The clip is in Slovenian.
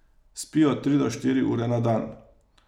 Spi od tri do štiri ure na dan.